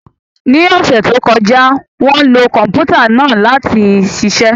Ní ọ̀sẹ̀ tó kọjá, wọ́n lo Kọ̀m̀pútà náà láti ṣiṣẹ́